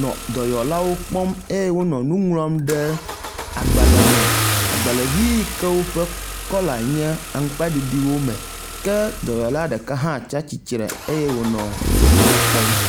nɔ dɔyɔlawo kpɔm eye wo nɔ nu ŋlɔm ɖe agbalẽ me, agbalẽvi yike woƒe kɔla nye aŋgbaɖiɖi wo me ke dɔyɔla ɖeka hã tsatsitre eye wonɔ wonɔɛwo kpɔm.